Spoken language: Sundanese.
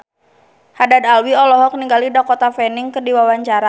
Haddad Alwi olohok ningali Dakota Fanning keur diwawancara